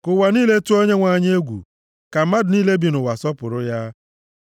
Ka ụwa niile tụọ Onyenwe anyị egwu; ka mmadụ niile bi nʼụwa sọpụrụ ya.